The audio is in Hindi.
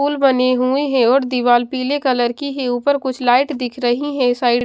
पुल बने हुए हैं और दीवार पीले कलर की है ऊपर कुछ लाइट दिख रही हैं साइड --